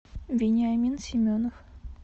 вениамин семенов